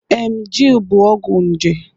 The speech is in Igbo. Emgyl bụ ọgwụ nje.